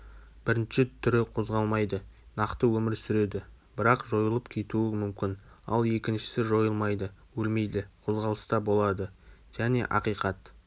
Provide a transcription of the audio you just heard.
бірінші түрі қозғалмайды нақты өмір сүреді бірақ жойылып кетуі мүмкін ал екіншісі жойылмайды өлмейді қозғалыста болады және ақиқат